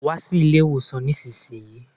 Wa sí ilé ìwòsàn nísinsìnyí